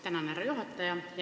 Tänan, härra juhataja!